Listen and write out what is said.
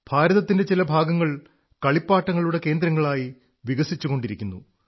ഭാരതത്തിന്റെ ചില ഭാഗങ്ങൾ കളിപ്പാട്ടങ്ങളുടെ കേന്ദ്രങ്ങളായി വികസിച്ചുകൊണ്ടിരിക്കുന്നു